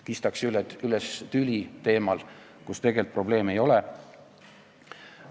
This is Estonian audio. Kistakse üles tüli teemal, kus probleemi tegelikult ei ole.